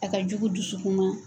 A ka jugu dusukun ma.